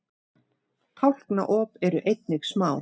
tálknaop eru einnig smá